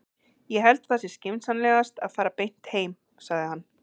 Ég held að það sé skynsamlegast að fara beint heim, sagði hann.